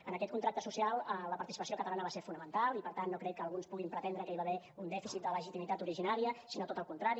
en aquest contracte social la participació catalana va ser fonamental i per tant no crec que alguns puguin pretendre que hi va haver un dèficit de legitimitat originària sinó tot el contrari